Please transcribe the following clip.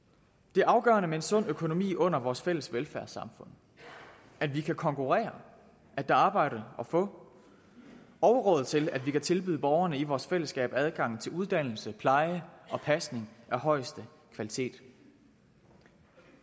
det er afgørende med en sund økonomi under vores fælles velfærdssamfund at vi kan konkurrere at der er arbejde at få og til at vi kan tilbyde borgerne i vores fællesskab adgang til uddannelse pleje og pasning af højeste kvalitet